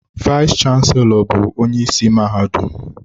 Vayis chansilọ bụ onye isi mahadum.